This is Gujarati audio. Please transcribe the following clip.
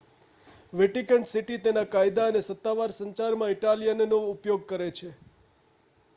વેટિકન સિટી તેના કાયદા અને સત્તાવાર સંચારમાં ઇટાલિયનનો ઉપયોગ કરે છે